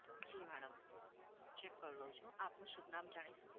જી madam check કરી લઉં છું. આપનું શુભ નામ જાણી શકું?